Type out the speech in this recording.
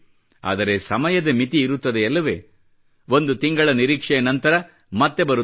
ಆದರೆ ಸಮಯದ ಮಿತಿ ಇರುತ್ತದೆಯಲ್ಲವೇ ಒಂದು ತಿಂಗಳ ನಿರೀಕ್ಷೆಯ ನಂತರ ಮತ್ತೆ ಬರುತ್ತೇನೆ